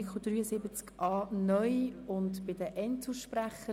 Wir sind beim Artikel 73a (neu) und bei den Einzelsprechenden.